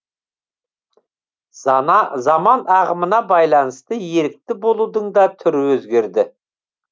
заман ағымына байланысты ерікті болудың да түрі өзгерді